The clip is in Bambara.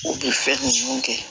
U bɛ fɛn ninnu kɛ